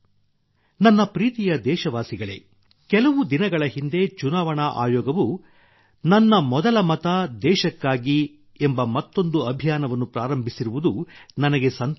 ನನ್ನ ಪ್ರೀತಿಯ ದೇಶವಾಸಿಗಳೇ ಕೆಲವು ದಿನಗಳ ಹಿಂದೆ ಚುನಾವಣಾ ಆಯೋಗವು ನನ್ನ ಮೊದಲ ಮತ ದೇಶಕ್ಕಾಗಿ ಎಂಬ ಮತ್ತೊಂದು ಅಭಿಯಾನವನ್ನು ಪ್ರಾರಂಭಿಸಿರುವುದು ನನಗೆ ಸಂತೋಷ ತಂದಿದೆ